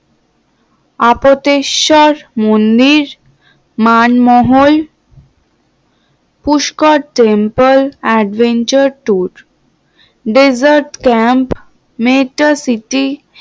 আপত্তেশ্বর মন্দির, Manmahal, Pushkar temple adventure tour desert camp nature city